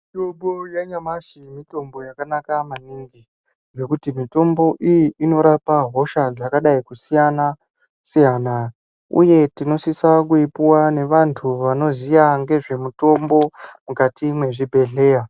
Mitombo yanyamashi mitombo yakanaka maningi. Mitombo iyi inorapa hosha dzakasiyana siyana. Uye tinosisa kupuwa ngeantu anoziya ngezvemutombo mukati mwezvibhendleya.